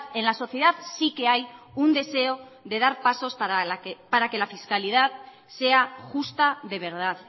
en la sociedad sí que hay un deseo de dar pasos para que la fiscalidad sea justa de verdad